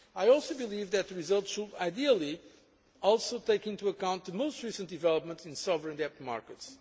to be struck. I also believe that the result should ideally take into account the most recent development in sovereign